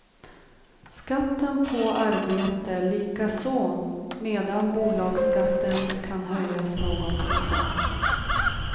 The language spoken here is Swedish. Skatten på arbete likaså medan bolagsskatten kan höjas någon procent.